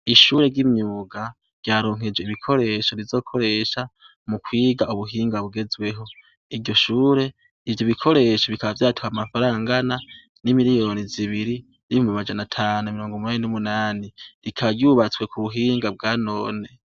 Ishure ry'imyuga ryaronkejwe ibikoresho rizokoresha mu kwiga ubuhinga bugezweho. Iryo shure, ivyo bikoresho bikaba vyatwaye amafaranga angana n'imiliyoni zibiri, n'ibihumbi amajana atanu na mirongo umunani n'umunani. Rikaba ryubatswe ku buhinga bwa none.